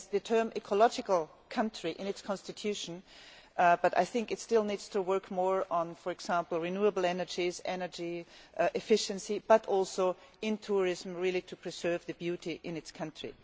It has the term ecological country' in its constitution, but I think it still needs to work more on, for example, renewable energy and energy efficiency, and also on tourism to preserve the beauty in its country.